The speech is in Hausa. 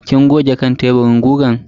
Kin goge kan teburin gugan?